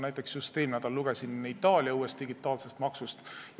Näiteks lugesin just eelmine nädal Itaalia uuest digitaalsest maksust.